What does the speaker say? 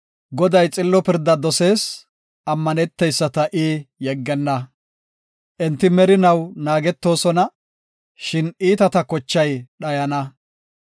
Goday xillo pirda dosees; ammaneteyisata I yeggenna. Enti merinaw naagetoosona; shin iitata kochay dhayana.